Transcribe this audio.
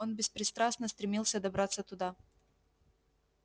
он беспристрастно стремился добраться туда